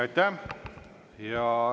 Aitäh!